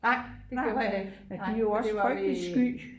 de er jo også frygteligt sky